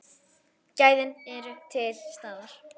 Gæðin eru til staðar.